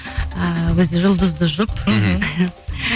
ы өзі жұлдызды жұп мхм